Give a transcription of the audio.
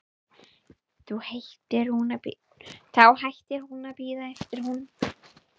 Þá hættir hún að bíða eftir honum.